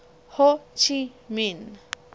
ho chi minh